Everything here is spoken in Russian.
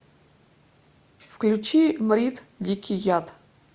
включи мрид дикий яд